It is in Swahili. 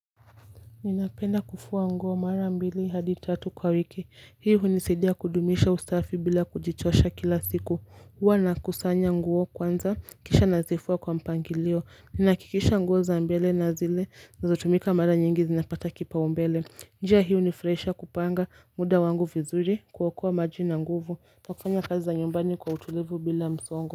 Ninapenda kufua nguo mara mbili hadi tatu kwa wiki hiyo hunisadia kudumisha usafi bila kujichosha kila siku huwa nakusanya nguo kwanza kisha nazifua kwa mpangilio. Ninakikisha nguo za mbele na zile zinazotumika mara nyingi zinapata kipaumbele. Njia hio hunifurahisha kupanga muda wangu vizuri, kuokoa maji na nguvu kwa kufanya kazi za nyumbani kwa utulivu bila msongo.